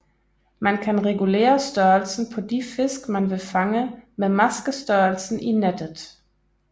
Man kan regulere størrelsen på de fisk man vil fange med maskestørrelsen i nettet